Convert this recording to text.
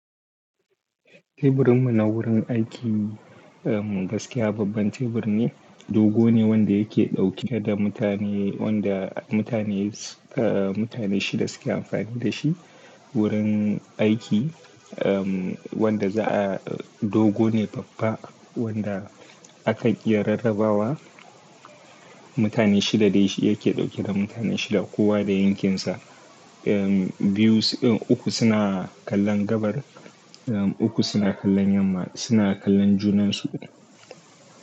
Teburinmu na wurin aiki, gaskiya babban tebur ne, dogo ne wanda yake ɗauke da mutane, wanda mutane, mutane shida suke amfani da shi. Wurin aiki, wanda za'a, dogo ne babba wanda akan iya rarrabawa. Mutane shida dai yake ɗauke da mutane shida kowa da yankinsa. Biyu, uku suna kallon gabar, uku suna kallon yamma, suna kallon junan su.